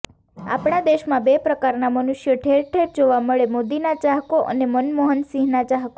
આપણા દેશમાં બે પ્રકારનાં મનુષ્યો ઠેર ઠેર જોવા મળેઃ મોદીના ચાહકો અને મનમોહનસિંહના ચાહકો